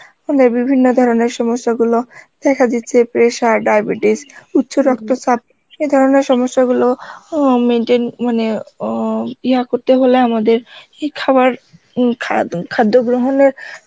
আমাদের বিভিন্ন ধরনের সমস্যা গুলো দেখা দিচ্ছে pressure, diabetes উচ্চ রক্ত চাপ এ ধরনের সমস্যাগুলো অ্যাঁ maintain মানে অ্যাঁ ইহা করতে হলে আমাদের এই খাবার উম খারাদুন~ খাদ্য গ্রহনের